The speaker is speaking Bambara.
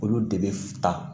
Olu de bɛ ta